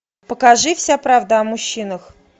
покажи вся правда о мужчинах